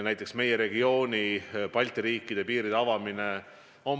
Näiteks meie regiooni, Balti riikide piiride avamine.